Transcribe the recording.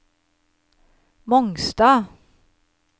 Mongstad